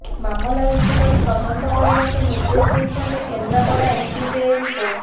ମାମଲା ରୁଜୁ କରି ତଦନ୍ତ କରିବାକୁ ନିର୍ଦ୍ଦେଶ ଦେଇଛନ୍ତି କେନ୍ଦ୍ରାପଡ଼ା ଏସ୍ଡିଜେଏମ୍ କୋର୍ଟ